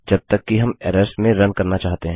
जब तक कि हम एरर्स में रन करना चाहते हैं